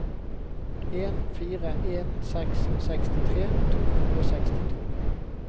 en fire en seks sekstitre to hundre og sekstito